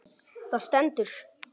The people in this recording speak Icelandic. Það stendur